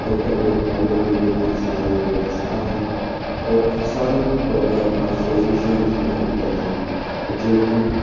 hotel मे खाने पीने की सारी व्यवस्था है और सारी प्रॉब्लम का सॉल्यूशन भी यही पर है जो कि--